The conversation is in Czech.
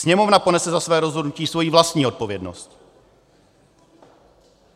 Sněmovna ponese za svoje rozhodnutí svoji vlastní odpovědnost.